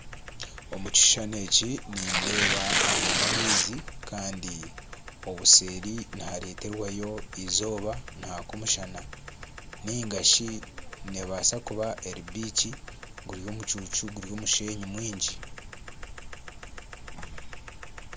Omu kishushani eki nindeeba aga n'amaizi kandi obuseeri nihareetwayo eizooba nihaka omushana ninga shi neebaasa kuba eri biiki guri omucuucu guri omushenyi mwingi